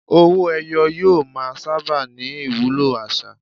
Owó-ẹyọ yóò máa sábà ní ìwúlò àṣà.